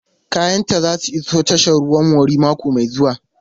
Kayanta za su iso tashar ruwan Warri mako mai zuwa.